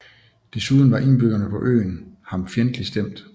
Desuden var indbyggerne på øen ham fjendtligt stemt